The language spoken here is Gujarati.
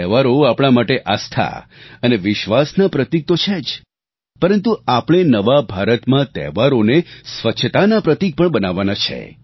તહેવારો આપણે માટે આસ્થા અને વિશ્વાસના પ્રતિક તો છે જ પરંતુ આપણે નવા ભારતમાં તહેવારોને સ્વચ્છતાના પ્રતિક પણ બનાવવાના છે